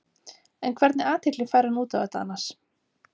En hvernig athygli fær hann út á þetta annars?